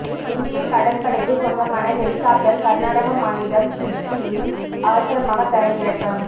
இந்திய கடற்படைக்கு சொந்தமான ஹெலிகாப்டர் கர்நாடக மாநிலம் சிர்சியில் அவசரமாக தரையிறக்கம்